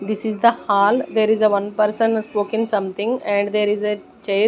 This is the hall there is a one person is spoking something and there is a chair.